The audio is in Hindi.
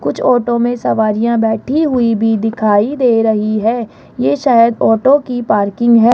कुछ ऑटो में सवारियां बैठी हुई भी दिखाई दे रही है ये शायद ऑटो की पार्किंग है।